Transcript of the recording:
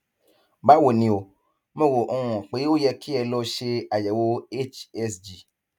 báwo ni o mo rò um pé ó yẹ kí ẹ lọ ṣe àyẹwò hsg